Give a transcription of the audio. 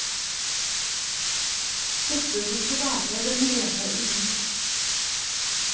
Dette burde være den rene idyll.